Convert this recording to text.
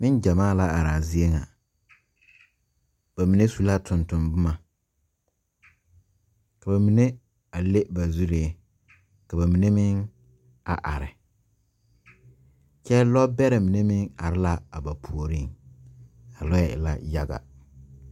Neŋ gyamaa la araa zie ŋa ba mine su la tonton bomma ka ba mine a le ba zuree ka ba mine meŋ are kyɛ lɔ bɛrɛ mine meŋ are laa a ba puoriŋ a lɔɛ e la yaga.